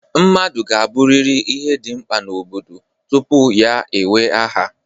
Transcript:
Mmadụ ga-abụrịrị ihe dị mkpa n'obodo tupu ya ewee aha